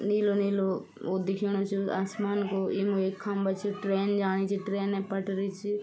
नीलू-नीलू वू दिखेंणु च आसमान को यम एक खम्बा च ट्रेन जाणी च ट्रेन पटरी च।